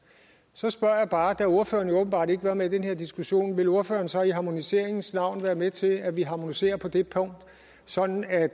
så spørger jeg bare da ordføreren åbenbart ikke var med i den her diskussion vil ordføreren så i harmoniseringens navn være med til at vi harmoniserer på det punkt sådan at